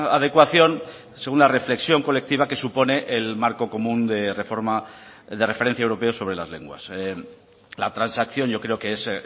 adecuación según la reflexión colectiva que supone el marco común de reforma de referencia europeo sobre las lenguas la transacción yo creo que es